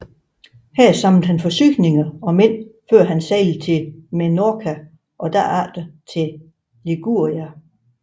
Her samlede han forsyninger og mænd før han sejlede til Menorca og derefter til Liguria